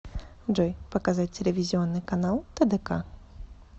джой показать телевизионный канал тдк